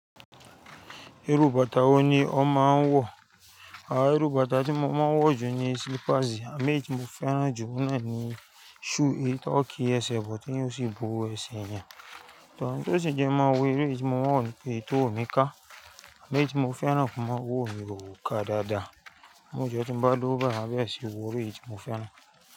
Wò ní ó máa ń wọ, àá irù bàtá tí mo máa ń wọ̀ jù ni slippers, àmo èyií tí mo fẹ́ràn jù oun náà ni shoe éyii to kí ẹsẹ̀ bo, ti yo sì bó ẹṣe eeyan. Tọ́ n tó sì jẹ́ má wọ̀ eleyii tí mo n wọ̀ ni pè n tówò mí ká, àmo èyí tí mo fẹ́ràn mọ́ owo mí ó ká dáadáa. Mójọ́ tí n bá lowo bayii, maa bere sì wọ̀ irú èyí tí mo fẹ́ràn.